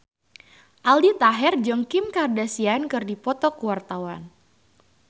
Aldi Taher jeung Kim Kardashian keur dipoto ku wartawan